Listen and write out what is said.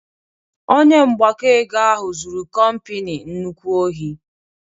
Onye mgbakọ ego ahụ zụrụ kompani nnukwu ohi